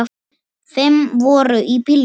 Fimm voru í bílnum.